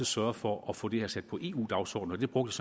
sørge for at få det her sat på eu dagsordenen det brugte